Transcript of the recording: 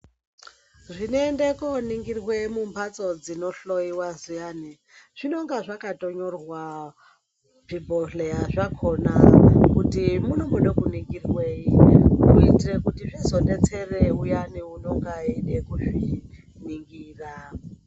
Zvinoda kuningirwa mumbatso zvinohloiwa zviyani zvinenge zvakanyorwa zvibhohleya zvakona kuti munomboda kuningirwei kuitira kuti zvizodetsera uyanu unonga eida kuzviningira.